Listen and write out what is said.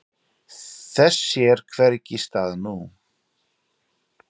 Þess sér hvergi stað nú.